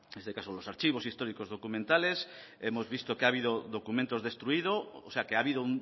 en este caso los archivos históricos documentales hemos visto que ha habido documentos destruidos o sea que ha habido